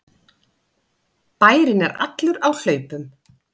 Bærinn er allur á hlaupum!